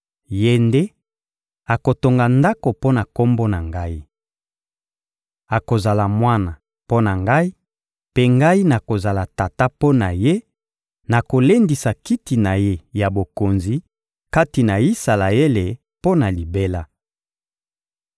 Ye nde akotonga Ndako mpo na Kombo na Ngai. Akozala mwana mpo na Ngai, mpe Ngai nakozala Tata mpo na ye, nakolendisa kiti na ye ya bokonzi kati na Isalaele mpo na libela.›